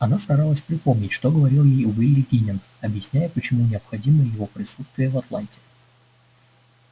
она старалась припомнить что говорил ей уилли гинен объясняя почему необходимо его присутствие в атланте